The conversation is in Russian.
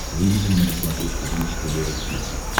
выведи мне на смотрешке бридж тв русский хит